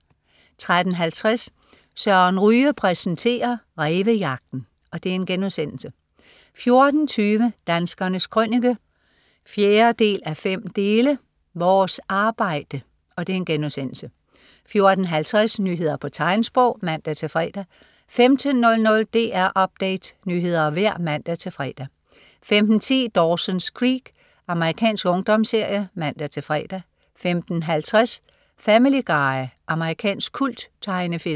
13.50 Søren Ryge præsenterer. Rævejagten* 14.20 Danskernes Krønike 4:5. Vores arbejde* 14.50 Nyheder på tegnsprog (man-fre) 15.00 DR Update. Nyheder og vejr (man-fre) 15.10 Dawson's Creek. Amerikansk ungdomsserie (man-fre) 15.50 Family Guy. Amerikansk kulttegnefilm